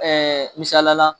misaliya la